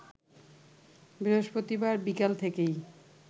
বৃহস্পতিবার বিকাল থেকেই